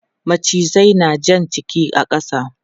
Macizai na jan jiki a ƙasa.